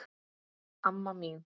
Amma mín